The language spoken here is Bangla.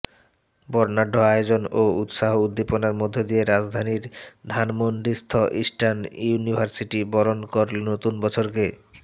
বর্ণাঢ্য আয়োজন ও উৎসাহ উদ্দীপনার মধ্য দিয়ে রাজধানীর ধানমন্ডিস্থ ইস্টার্ন ইউনিভার্সিটি বরণ করলো নতুন বছরকে